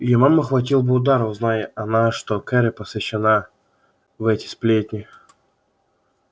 её маму хватил бы удар узнай она что кэро посвящена в эти сплетни